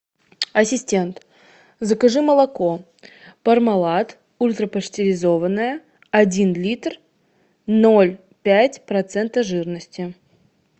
ассистент закажи молоко пармалат ультрапастеризованное один литр ноль пять процента жирности